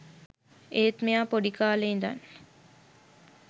ඒත් මෙයා පොඩි කාලේ ඉදන්